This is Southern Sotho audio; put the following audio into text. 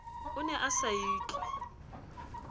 o ne a sa itlwe